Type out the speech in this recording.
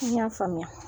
I y'a faamuya